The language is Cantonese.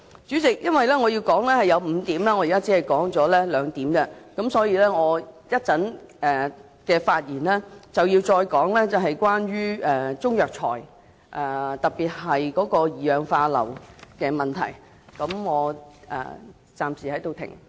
主席，由於我想提出5點，但現時只提出兩點，所以我稍後的發言會再提及中藥材中特別是二氧化硫含量的問題。